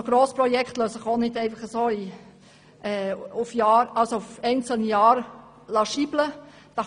Grossprojekte lassen sich auch nicht auf einzelne Jahre hinunterrechnen.